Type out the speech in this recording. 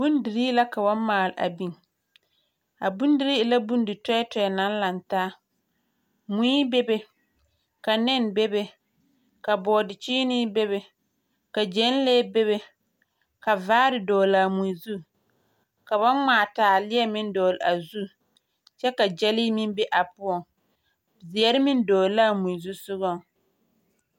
Bondirii la ka ba maale a biŋ. A bondirii e la bondi-tɔɛ tɔɛ naŋ laŋ taa. Mui bebe, ka nɛne bebe, ka bɔɔde-kyeenee bebe, ka gyɛnlee bebe, ka vaare dɔgle a mui zu, ka ba ŋmaa taaleɛ meŋ dɔgle a zu, kyɛ ka gyɛlee meŋ be a poɔŋ. Zeɛre meŋ dɔgle a mui zusogɔŋ.